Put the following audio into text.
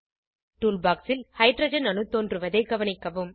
tool box ல் hydrogen அணு தோன்றுவதை கவனிக்கவும்